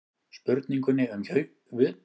Spurningunni um haustjafndægur er þar með svarað.